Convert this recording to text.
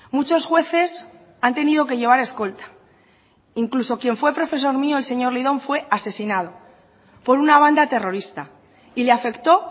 muchos jueces han tenido que llevar escolta incluso quien fue profesor mío el señor lidón fue asesinado por una banda terrorista y le afectó